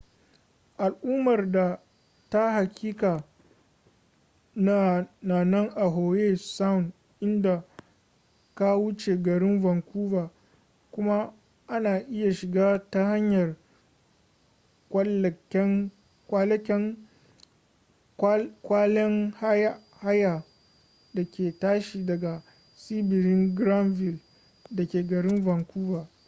al'ummar ta hakika na nan a howe sound idan ka wuce garin vancouver kuma ana iya shiga ta hanyar kwalekwalen haya da ke tashi daga tsibirin granville dake garin vancouver